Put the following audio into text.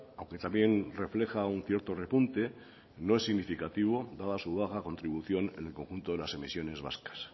aunque también refleja un cierto repunte no es significativo dada su baja contribución en el conjunto de las emisiones vascas